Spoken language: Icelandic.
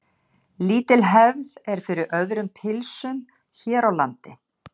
Lítil hefð er fyrir öðrum pylsum hér á landi.